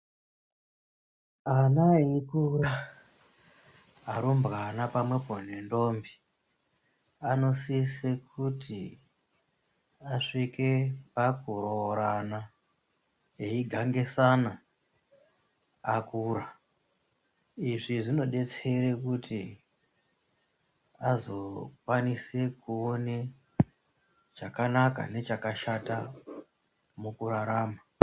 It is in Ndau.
Ana eikura arumbwana pamwepo nendombi anosisa kuti asvike pakuroorana eigangisana akura izvi zvinodetsera kuti azokwanisa kuona chakanaka nechakashata mukurarama.